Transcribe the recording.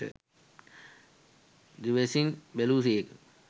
දිවැසින් බැලූසේක.